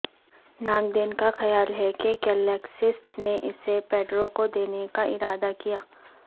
ناقدین کا خیال ہے کہ کیلکسٹس نے اسے پیڈرو کو دینے کا ارادہ کیا